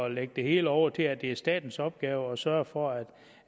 at lægge det hele over til at det er statens opgave at sørge for at